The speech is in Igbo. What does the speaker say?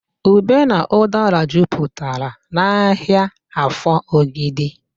Ube na ụdara juputara n'ahịa Afọ Ogidi